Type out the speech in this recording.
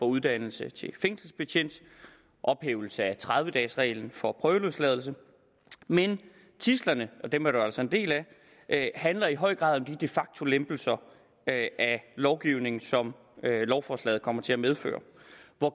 uddannelsen til fængselsbetjent og ophævelse af tredive dages reglen for prøveløsladelse men tidslerne og dem er der jo altså en del af handler i høj grad om de de facto lempelser af lovgivningen som lovforslaget kommer til at medføre